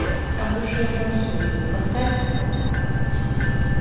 а в душе я танцую поставь